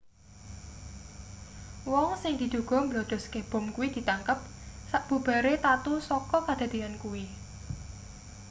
wong sing diduga mbledhoske bom kuwi ditangkep sabubare tatu saka kadadeyan kuwi